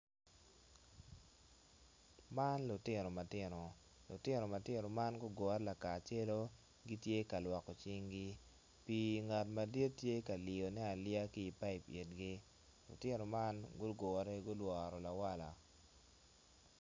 Man lutino matino, lutin ma tino man gugure lakacelu gitye ka lwoko cinggi pii ngat madit tye ka liyone aliya ki i payip lutino man gure i lawal.